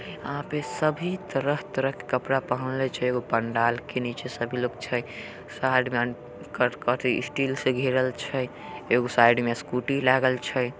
यहां पे सभी तरह-तरह के कपड़ा पहनले छै। एगो पंडाल के नीचे सभी लोग छै। साइड में स्टील से घेरल छै। एगो साइड मे कत कथी स्कूटी लगल छै।